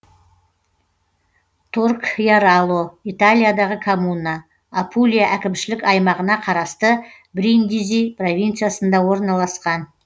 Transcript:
торкьяроло италиядағы коммуна апулия әкімшілік аймағына қарасты бриндизи провинциясында орналасқан